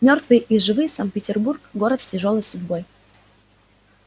мёртвые и живые санкт-петербург город с тяжёлой судьбой